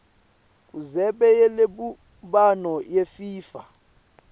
kundzebe yelubumbano yefifa